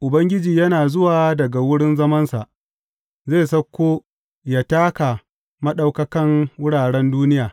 Ubangiji yana zuwa daga wurin zamansa; zai sauko yă taka maɗaukakan wuraren duniya.